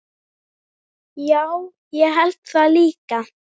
Já, ég held það líka.